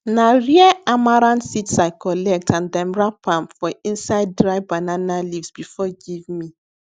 na rare amaranth seeds i collect and dem wrap am for inside dry banana leaves before give me